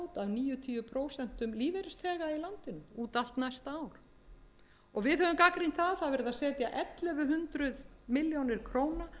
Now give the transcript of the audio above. prósent lífeyrisþega í landinu út allt næsta ár við höfum gagnrýnt að það er verið að setja ellefu hundruð illa krónur